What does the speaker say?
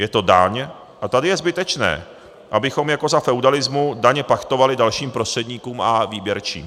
Je to daň a tady je zbytečné, abychom jako za feudalismu daně pachtovali dalším prostředníkům a výběrčím.